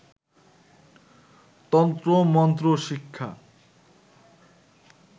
তন্ত্র মন্ত্র শিক্ষা